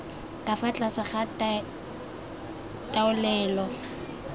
ka fa tlase ga taolelo